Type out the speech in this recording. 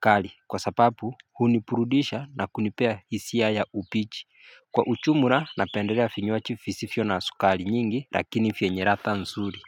kali kwa sapapu hunipurudisha na kunipea hisia ya upichi Kwa uchumura napenderea finywaji fisifio na sukali nyingi lakini fye nyeratha msuri.